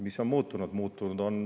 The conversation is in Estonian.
Mis on muutunud?